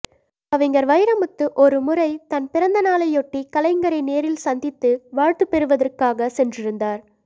கவிஞர் வைரமுத்து ஒருமுறை தன் பிறந்தநாளையொட்டி கலைஞரை நேரில் சந்தித்து வாழ்த்துப் பெறுவதற்காகச் சென்றிருந்தார்